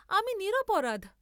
আমি নিরপরাধ।